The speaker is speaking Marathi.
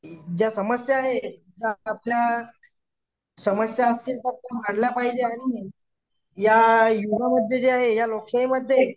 ज्या समस्या आहेत आपल्या या लोकशाहीमध्ये